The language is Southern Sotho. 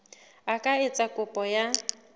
a ka etsa kopo ya